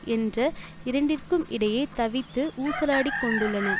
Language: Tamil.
என்ற இரண்டிற்கும் இடையே தவித்து ஊசலாடிக் கொண்டுள்ளன